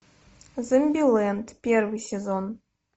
зомбилэнд первый сезон